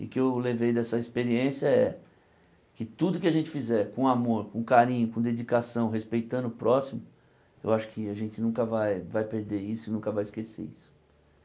E o que eu levei dessa experiência é que tudo que a gente fizer com amor, com carinho, com dedicação, respeitando o próximo, eu acho que a gente nunca vai vai perder isso e nunca vai esquecer isso.